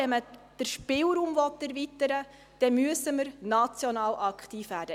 Wenn man den Spielraum erweitern will, dann müssen wir national aktiv werden.